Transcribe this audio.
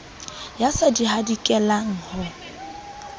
ya sa di hadikelang ho